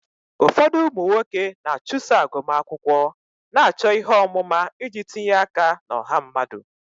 Ọtụtụ ụmụ nwoke na-achụso agụmakwụkwọ, na-achọ ihe ọmụma iji tinye aka na ọha mmadụ.